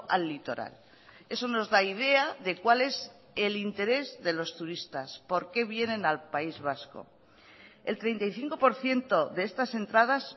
al litoral eso nos da idea de cual es el interés de los turistas por qué vienen al país vasco el treinta y cinco por ciento de estas entradas